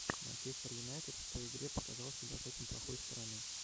манчестер юнайтед в той игре показал себя с очень плохой стороны